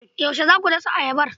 Yaushe za ku dasa ayabar.